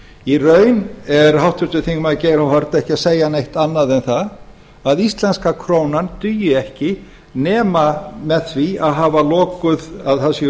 í raun er háttvirtur þingmaður geir h haarde ekki að segja neitt annað en það að íslenska krónan dugi ekki nema það